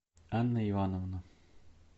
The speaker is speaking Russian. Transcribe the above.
анна ивановна